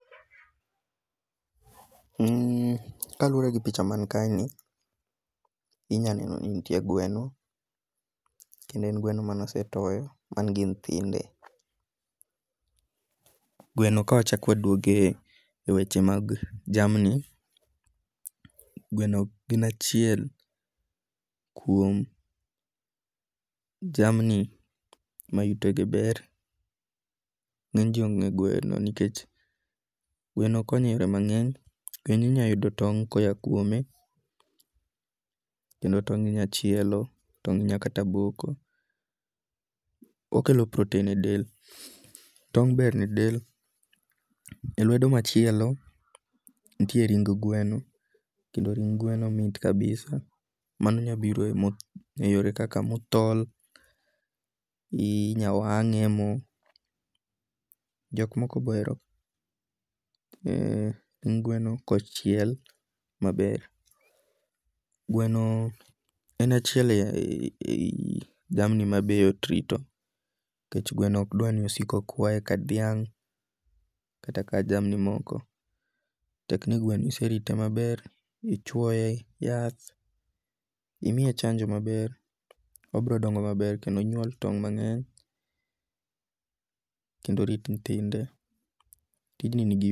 Kaluwore gi picha man ka ni inyaneno ni nitie gweno. Kendo en gweno mane osetoyo man gi nyithinde. Gweno ka wachak waduogo e weche mag jamni. Gweno gin achiel kuom jamni ma yutege ber. Ng'eny ji onge gweno nikech gweno konyo e yore mang'eny. Kendo inya yudo tong' ko a kuome. Kendo tong' inya chielo. Toing' inya kata boko. Okelo protein e del. Tong' ber ne del. E lwedo machielo nitie ring' gweno kendo ring' gweno mit kabisa. Mano nyalo biro e yore kaka mothol, inya wang'e e mo. Jok moko be ohero ring gweno kochiel maber. Gweno en achiel a yi jamni ma be yot rito. Nikech gwano ok dwa ni osik okwaye ka dhiang' kata ka jamni moko. Tek ni gweno iserite maber, ichwoye yath, imiye chanjo maber, obiro dongo maber kendo onyuol tonge mang'eny kendo orit nyithinde. Tijni ni gi.